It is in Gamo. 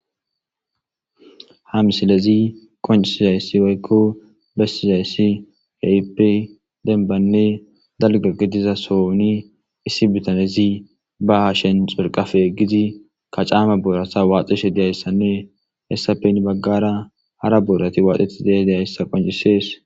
Ha misilezi qonccisizaysi woyko besizaysi keehippe dalganne demba gidiza sohoni issi bitanezi be hashen xurqafe yeggidi,kacama boorata waaxishe dizaysanne hessappe heni baggara hara boorati waaxetidi dizaysa qoncisesees.